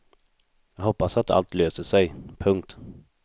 Jag hoppas att allt löser sig. punkt